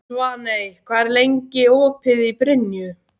Svaney, hvað er lengi opið í Brynju?